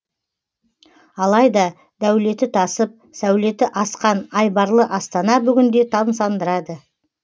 алайда дәулеті тасып сәулеті асқан айбарлы астана бүгінде тамсандырады